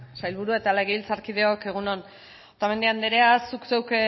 sailburuak eta legebiltzarkideok egun on otamendi andrea zuk zeuk